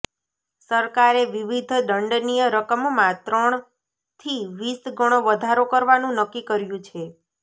સરકારે વિવિધ દંડનીય રકમમાં ત્રણથી વીસ ગણો વધારો કરવાનું નક્કી કર્યું છે